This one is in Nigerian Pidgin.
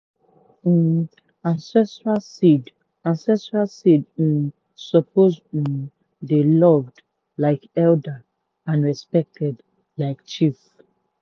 um ancestral seed ancestral seed um suppose um dey loved like elder and respected like chief.